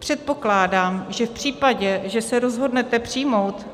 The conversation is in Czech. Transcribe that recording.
Předpokládám, že v případě, že se rozhodnete přijmout